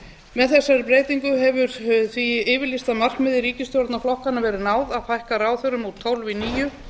með þessari breytingu hefur því yfirlýsta markmiði ríkisstjórnarflokkanna verið náð að fækka ráðherrum úr tólf í níu